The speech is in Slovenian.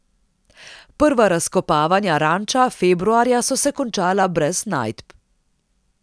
Prva razkopavanja ranča februarja so se končala brez najdb.